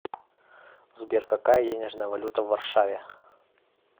сбер какая денежная валюта в варшаве